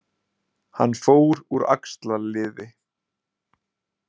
Hann fór úr axlarliði